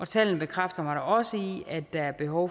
tallene bekræfter mig også i at der er behov